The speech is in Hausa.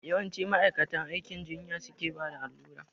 Yawanci ma'aikatan aikin jinya su ke bada allura